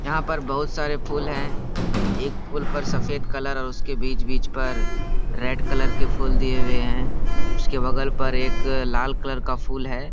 यहाँ पर बहुत सारे फूल है एक फूल पर सफेद कलर और उसके बीच- बीच पर रेड कलर के फूल दिए हुए है उसके बगल पर एक लाल कलर का फूल है।